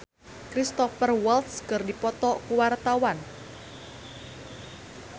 Christian Sugiono jeung Cristhoper Waltz keur dipoto ku wartawan